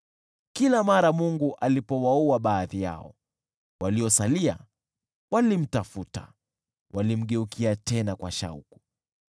Kila mara Mungu alipowaua baadhi yao, waliosalia walimtafuta, walimgeukia tena kwa shauku.